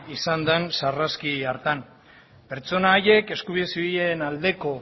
izan den sarraski hartan pertsona haiek eskubide zibilen aldeko